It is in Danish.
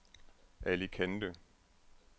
Alicante